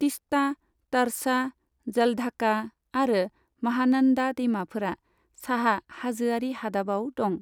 तीस्ता, त'रसा, जलढाका आरो माहानन्दा दैमाफोरा साहा हाजोआरि हादाबाव दं।